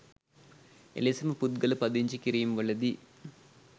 එලෙසම පුද්ගල පදිංචි කිරීම්වලදී